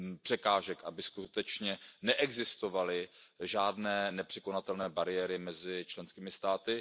překážek, aby skutečně neexistovaly žádné nepřekonatelné bariéry mezi členskými státy.